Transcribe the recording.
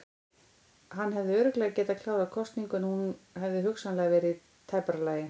Hann hefði mögulega getað klárað kosningu en hún hefði hugsanlega verið í tæpara lagi.